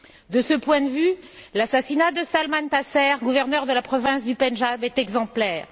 De ce point de vue, l'assassinat de Salman Taseer, gouverneur de la province du Pendjab, est exemplaire.